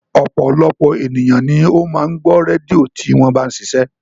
Ọ̀pọ̀lọpọ̀ ènìyàn ni ó máa ń gbọ́ rédíò tí wọ́n bá ń ṣiṣẹ́